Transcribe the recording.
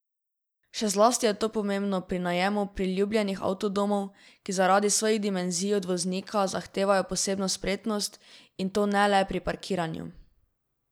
Še zlasti je to pomembno pri najemu priljubljenih avtodomov, ki zaradi svojih dimenzij od voznika zahtevajo posebno spretnost, in to ne le pri parkiranju.